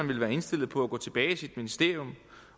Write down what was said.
vil være indstillet på at gå tilbage i sit ministerium